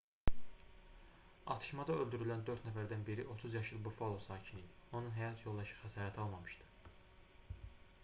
atışmada öldürülən dörd nəfərdən biri 30 yaşlı buffalo sakini idi onun həyat yoldaşı xəsarət almamışdı